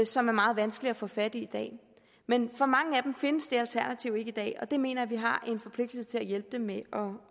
som er meget vanskelig at få fat i i dag men for mange af dem findes det alternativ ikke i dag og det mener jeg at vi har en forpligtelse til at hjælpe dem med at